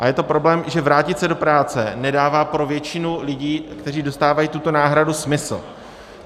A je to problém, že vrátit se do práce nedává pro většinu lidí, kteří dostávají tuto náhradu, smysl.